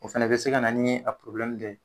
O fɛnɛ bɛ se ka na ni a dɔ ye.